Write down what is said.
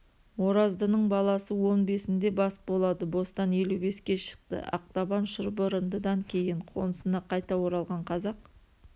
ораздының баласы он бесінде бас болады бостан елу беске шықты ақтабан шұбырындыданкейін қонысына қайта оралған қазақ